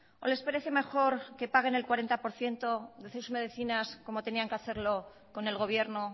o les parece mejor que paguen el cuarenta por ciento de sus medicinas como tenían que hacerlo con el gobierno